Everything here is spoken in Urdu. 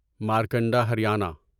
مارکنڈا ہریانہ